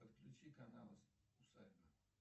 подключи канал усадьба